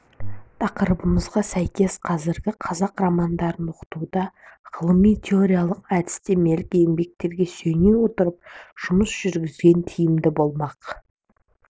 тақырыбымызға сәйкес қазіргі қазақ романдарын оқытуда ғылыми-теориялық әдістемелік еңбектерге сүйене отырып жұмыс жүргізген тиімді болмақ